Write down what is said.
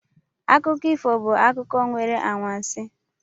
Akụkọ ifo bụ akụkọ nwere anwansi